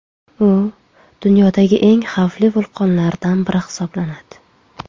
U dunyodagi eng xavfli vulqonlardan biri hisoblanadi.